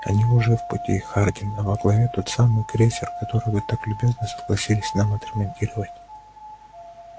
они уже в пути хардин а во главе тот самый крейсер который вы так любезно согласились нам отремонтировать